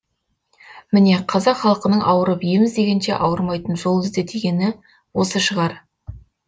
міне қазақ халқының ауырып ем іздегенше ауырмайтын жол ізде дегені осы шығар